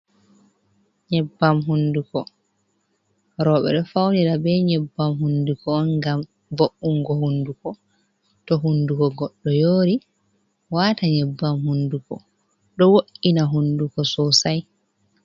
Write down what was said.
Nyebbam hunduko, roɓe ɗo faunira be nyebbam hunduko on gam vo’ungo hunduko to hunduko goɗɗo yori wata nyebbam hunduko ɗo wo’’ina hunduko sosai.